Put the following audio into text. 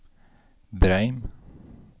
Breim